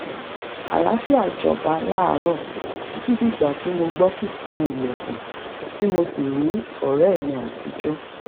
àlàáfíà jọba láàárọ̀ títí dìgbà tí mo gbọ́ kíkan ilẹ̀kùn tí mo sì rí ọ̀rẹ́ mi àtijọ́